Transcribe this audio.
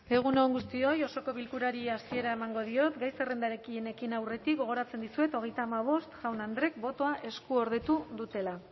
egun on guztioi osoko bilkurari hasiera emango diot gai zerrendarekin ekin aurretik gogoratzen dizuet hogeita hamabost jaun andreek botoa eskuordetu dutela